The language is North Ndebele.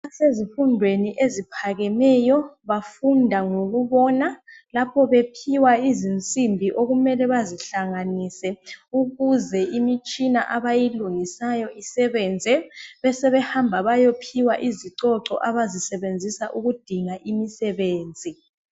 Abasezifundweni eziphakemeyo bafunda ngokubona ..Lapho bephiwa izinsimbi okumele bazihlanganise ukuze imitshina abayilungisayo isebenze .Besebe hamba bayophiwa izicoco abazisebenzisa ukudinga imisebenzi .